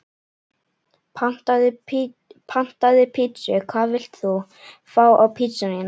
Pantaði pizzu Hvað vilt þú fá á pizzuna þína?